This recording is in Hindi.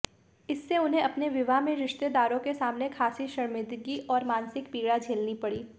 इससे उन्हें अपने विवाह में रिश्तेदारों के सामने खासी शर्मिंदगी और मानसिक पीड़ा झेलनी पड़ी